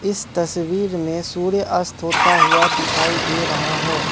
इस तस्वीर में सूर्य अस्त होता हुआ दिखाई दे रहा है।